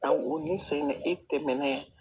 Aw o ni sen e tɛmɛnen